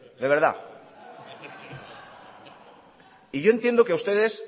de verdad y yo entiendo que a ustedes